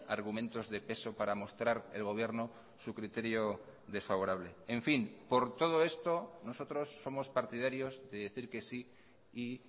argumentos de peso para mostrar el gobierno su criterio desfavorable en fin por todo esto nosotros somos partidarios de decir que sí y